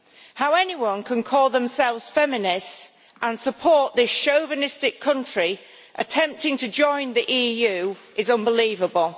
How anyone can call themselves feminist and support this chauvinistic country's attempt to join the EU is unbelievable.